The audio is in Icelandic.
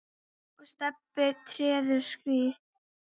og Stebbi treður strý.